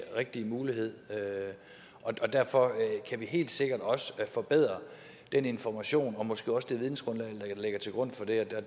rigtige mulighed derfor kan vi helt sikkert også forbedre den information og måske også det vidensgrundlag der ligger til grund for det